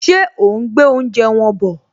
Ṣé òún gbé oúnjẹ wọn bọ̀?